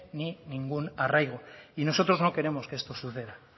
ni ningún arraigo nosotros no queremos que esto suceda